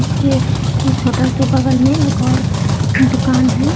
के इस होटल के बगल में एक और दुकान है।